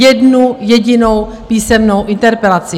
Jednu jedinou písemnou interpelaci!